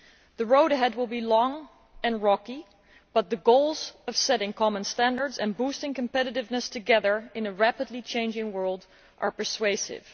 The road ahead will be long and rocky, but the goals of setting common standards and boosting competitiveness together in a rapidly changing world are persuasive.